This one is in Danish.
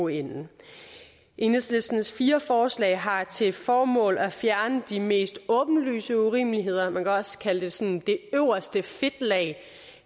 ende enhedslistens fire forslag har til formål at fjerne de mest åbenlyse urimeligheder man kan også kalde det sådan det øverste fedtlag